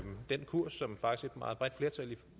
som